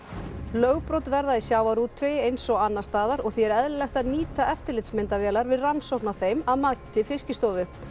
lögbrot verða í sjávarútvegi eins og annars staðar og því er eðlilegt að nýta eftirlitsmyndavélar við rannsókn á þeim að mati Fiskistofu